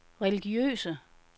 religiøse